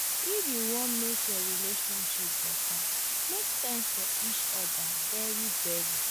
if yu wan mek your relationship beta mek time for each oda very very.